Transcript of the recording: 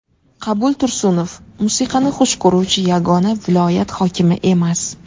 Qabul Tursunov musiqani xush ko‘ruvchi yagona viloyat hokimi emas.